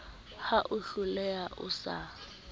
ra o tlohela o sa